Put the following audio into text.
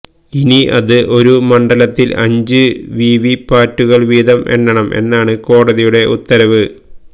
ഇനി അത് ഒരു മണ്ഡലത്തിൽ അഞ്ച് വിവി പാറ്റുകൾ വീതം എണ്ണണം എന്നാണ് കോടതിയുടെ ഉത്തരവ്